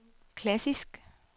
klassisk